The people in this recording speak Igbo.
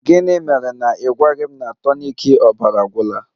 Gịnị mere na ị gwaghị m na tonik ọbara agwụla?